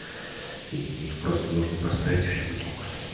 и их просто нужно поставить и всё будет ок